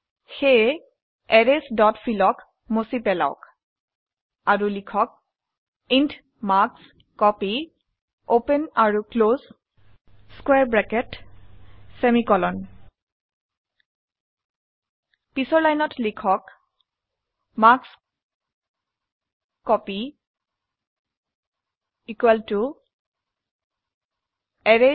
সেয়ে arrays dot fill ক মুছি পেলাওক আৰু লিখক ইণ্ট মাৰ্কস্কপী পিছৰ লাইনত লিখক মাৰ্কস্কপী এৰেইছ